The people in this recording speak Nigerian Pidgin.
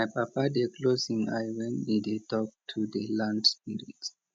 my papa dey close him eye when e dey talk to di land spirits